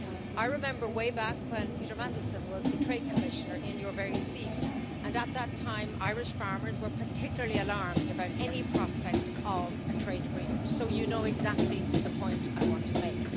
I remember way back when Peter Mandelson was the Trade Commissioner in your very seat, and at that time Irish farmers were particularly alarmed about any prospect of a trade agreement, so you know exactly the point I want to make.